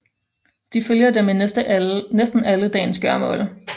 De følger dem i næsten alle dagens gøremål